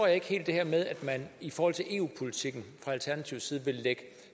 jeg ikke helt det her med at man i forhold til eu politikken vil lægge